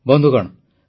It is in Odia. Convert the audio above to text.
ବନ୍ଧୁଗଣ